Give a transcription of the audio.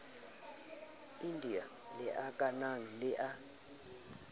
india le akanang le la